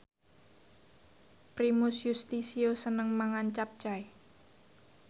Primus Yustisio seneng mangan capcay